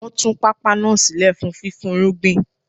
Wọ́n tún pápá náà sílẹ̀ fún fífúnrúgbìn